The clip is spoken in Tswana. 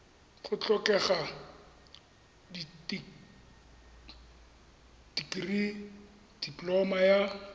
go tlhokega dikirii dipoloma ya